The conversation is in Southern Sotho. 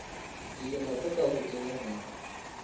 dilemo tse ka hodimo ho